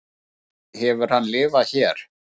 lengi hefur hann lifað hér